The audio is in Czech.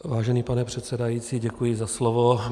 Vážený pane předsedající, děkuji za slovo.